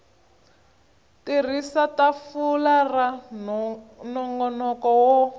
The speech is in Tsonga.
tirhisa tafula ra nongonoko wo